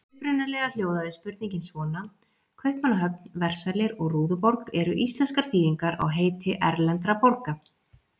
Upprunalega hljóðaði spurningin svona: Kaupmannahöfn, Versalir og Rúðuborg eru íslenskar þýðingar á heiti erlendra borga.